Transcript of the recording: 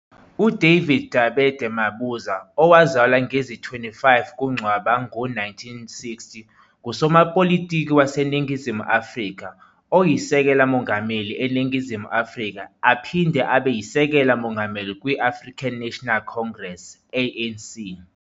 UDavid Dabede Mabuza, owazalwa ngezi-25 kuNcwaba ngo-1960, ngusomapolitiki waseNingizimu Afrika, oyiSekela Mongameli eNingizimu Afrika aphinde abeyiSekela Mongameli kwi-African National Congress, ANC.